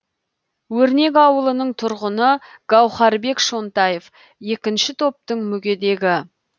өрнек ауылының тұрғыны гаухарбек шонтаев екінші топтың мүгедегі